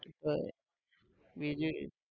અ બીજું